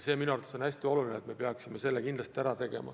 See on minu arvates hästi oluline, me peaksime selle kindlasti ära tegema.